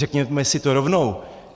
Řekněme si to rovnou.